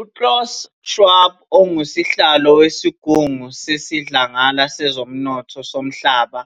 UKlaus Schwab, ongusihlalo wesigungu sesiDlangala sezoMnotho soMhlaba